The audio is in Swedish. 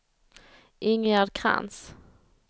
Ingegerd Krantz